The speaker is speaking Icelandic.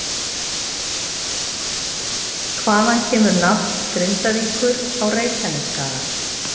Hvaðan kemur nafn Grindavíkur á Reykjanesskaga?